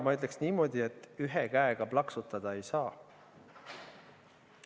Ma ütleksin niimoodi, et ühe käega plaksutada ei saa.